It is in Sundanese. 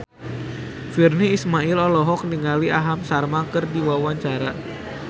Virnie Ismail olohok ningali Aham Sharma keur diwawancara